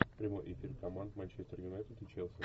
прямой эфир команд манчестер юнайтед и челси